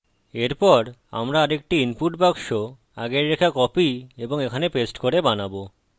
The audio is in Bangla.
এরপর আমরা আরেকটি ইনপুট বাক্স আগের রেখা কপি এবং এখানে পেস্ট করে বানাবো